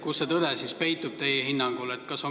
Kus see tõde siis teie hinnangul peitub?